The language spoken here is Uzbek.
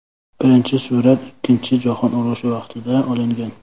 Birinchi surat ikkinchi jahon urushi vaqtida olingan.